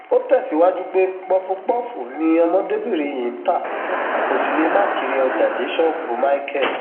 ó tẹsíwájú pé pọfúpọọfù ni ọmọdébìnrin yìí ń ta kó sì lè má kiri ọjà dé ṣọọbù michael